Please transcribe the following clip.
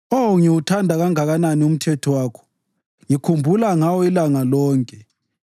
Oh, ngiwuthanda kangakanani umthetho wakho! Ngikhumbula ngawo ilanga lonke.